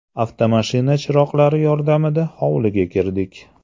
Avtomashina chiroqlari yordamida hovliga kirdik.